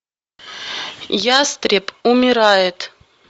ястреб умирает